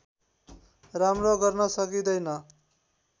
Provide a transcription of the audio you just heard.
राम्रो गर्न सकिँदैन